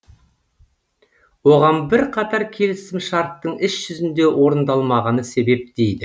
оған бірқатар келісімшарттың іс жүзінде орындалмағаны себеп дейді